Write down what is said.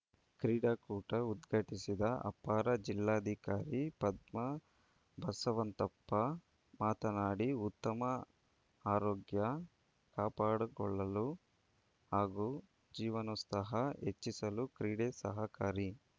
ಕ್ರೀಡಾಕೂಟ ಉದ್ಘಾಟಿಸಿದ ಅಪರ ಜಿಲ್ಲಾಧಿಕಾರಿ ಪದ್ಮಾ ಬಸವಂತಪ್ಪ ಮಾತನಾಡಿ ಉತ್ತಮ ಆರೋಗ್ಯ ಕಾಪಾಡಿಕೊಳ್ಳಲು ಹಾಗೂ ಜೀವನೋತ್ಸಾಹ ಹೆಚ್ಚಿಸಲು ಕ್ರೀಡೆ ಸಹಕಾರಿ